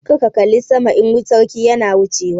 Kar ka kalla sama idan sarki na wuchewa!